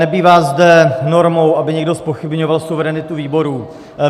Nebývá zde normou, aby někdo zpochybňoval suverenitu výboru.